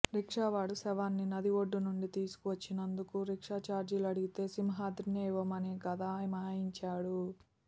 రిక్షావాడు శవాన్ని నది ఒడ్డు నుండి తీసుకువొచ్చినందుకు రిక్షా చార్జీలు అడిగితే సింహాద్రినే ఇవ్వమని గదమాయించారు